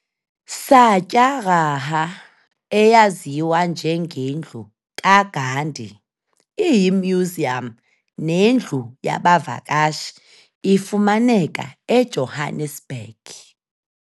Satyagraha eyaziwa nje nge ndlu ka Gandhi iyiMuseum ne ndlu yaba vakashi ifumaneka eJohannesburg.